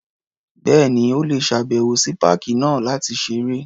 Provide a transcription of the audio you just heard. Bẹ́ẹ̀ni. O lè ṣàbẹ̀wò sí páàkì náà láti ṣeré.